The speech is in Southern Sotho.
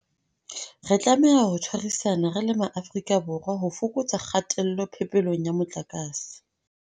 Re tlameha ho tshwarisana re le Maafrika Borwa ho fokotsa kgatello phepelong ya motlakase.